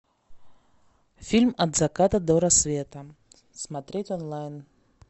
фильм от заката до рассвета смотреть онлайн